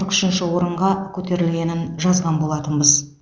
қырық үшінші орынға көтерілгенін жазған болатынбыз